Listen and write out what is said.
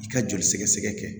I ka joli sɛgɛsɛgɛ kɛ